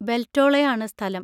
ബെൽറ്റോളായാണ് സ്ഥലം.